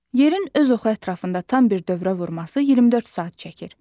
Yerin öz oxu ətrafında tam bir dövrə vurması 24 saat çəkir.